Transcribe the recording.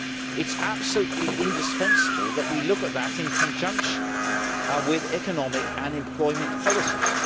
It is absolutely indispensable that we look at that in conjunction with economic and employment policies.